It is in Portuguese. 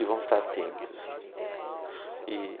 E vamos estar atentos, né? E